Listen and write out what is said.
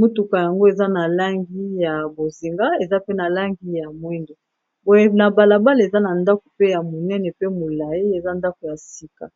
motuka yango eza na langi ya bozinga eza pe na langi ya mwindo boye na balabala eza na ndako pe ya monene pe ya molayi eza ndako ya sika.